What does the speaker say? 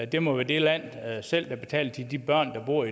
det må være det land selv der betaler til de børn der bor